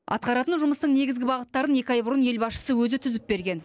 атқаратын жұмыстың негізгі бағыттарын екі ай бұрын ел басшысы өзі түзіп берген